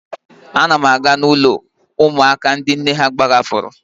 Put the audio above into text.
Ana m aga ụlọ ụmụaka ndị nne ha gbahapụrụ.